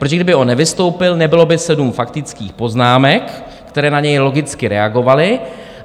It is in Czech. Protože kdyby on nevystoupil, nebylo by 7 faktických poznámek, které na něj logicky reagovaly.